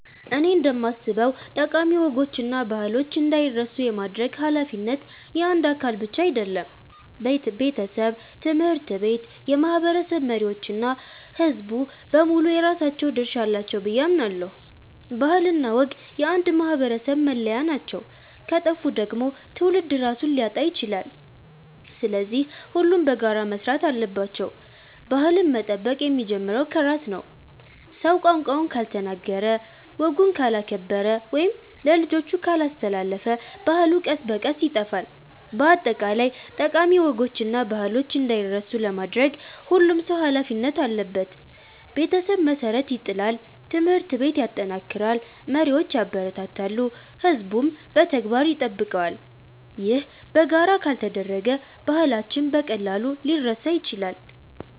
እኔ እንደማስበው ጠቃሚ ወጎችና ባህሎች እንዳይረሱ የማድረግ ኃላፊነት የአንድ አካል ብቻ አይደለም። ቤተሰብ፣ ትምህርት ቤት፣ የማህበረሰብ መሪዎች እና ሕዝቡ በሙሉ የራሳቸው ድርሻ አላቸው ብዬ አምናለሁ። ባህልና ወግ የአንድ ማህበረሰብ መለያ ናቸው፤ ከጠፉ ደግሞ ትውልድ ራሱን ሊያጣ ይችላል። ስለዚህ ሁሉም በጋራ መስራት አለባቸው። ባህልን መጠበቅ የሚጀምረው ከራስ ነው። ሰው ቋንቋውን ካልተናገረ፣ ወጉን ካላከበረ ወይም ለልጆቹ ካላስተላለፈ ባህሉ ቀስ በቀስ ይጠፋል። በአጠቃላይ ጠቃሚ ወጎችና ባህሎች እንዳይረሱ ለማድረግ ሁሉም ሰው ኃላፊነት አለበት። ቤተሰብ መሠረት ይጥላል፣ ትምህርት ቤት ያጠናክራል፣ መሪዎች ያበረታታሉ፣ ሕዝቡም በተግባር ይጠብቀዋል። ይህ በጋራ ካልተደረገ ባህላችን በቀላሉ ሊረሳ ይችላል።